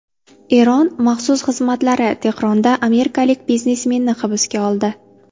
Eron maxsus xizmatlari Tehronda amerikalik biznesmenni hibsga oldi.